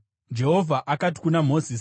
Jehovha akati kuna Mozisi,